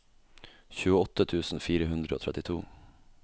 tjueåtte tusen fire hundre og trettito